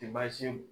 Te baasi